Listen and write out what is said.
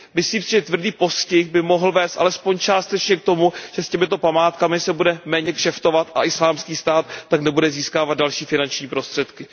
Myslím si, že tvrdý postih by mohl vést alespoň částečně k tomu, že s těmito památkami se bude méně kšeftovat a Islámský stát tak nebude získávat další finanční prostředky.